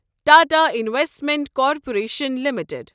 Tata investment corporation limited